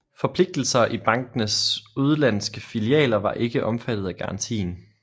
Forpligtelser i bankenes udenlandske filialer var ikke omfattet af garantien